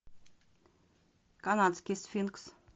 канадский сфинкс